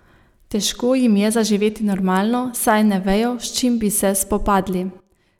Težko jim je zaživeti normalno, saj ne vejo, s čim bi se spopadli.